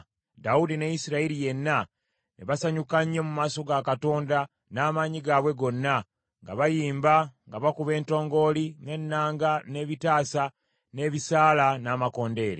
Dawudi ne Isirayiri yenna ne basanyuka nnyo mu maaso ga Katonda n’amaanyi gaabwe gonna, nga bayimba nga bakuba entongooli, n’ennanga, n’ebitaasa, n’ebisaala, n’amakondeere.